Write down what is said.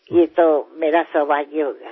એ તો મારું સૌભાગ્ય હશે